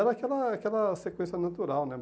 E era aquela aquela sequência natural, né?